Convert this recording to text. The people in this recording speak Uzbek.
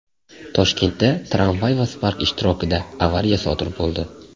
Toshkentda tramvay va Spark ishtirokida avariya sodir bo‘ldi.